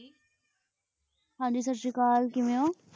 ਜੀ ਹਨ ਜੀ ਸਾਸ੍ਰੀਕੈੱਲ ਜੀ ਕਿਵੇਯਨ ਕਿਵੇਯਨ ਹੋ ਹਨ